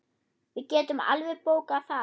Við getum alveg bókað það.